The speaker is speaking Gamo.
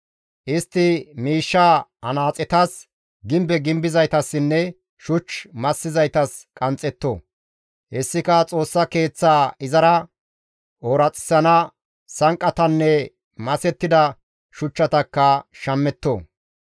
Istti miishshaa anaaxetas, gimbe gimbizaytassinne shuch massizaytas qanxxetto. Hessika Xoossa Keeththaa izara ooraxissana sanqqatanne masettida shuchchatakka shammetto.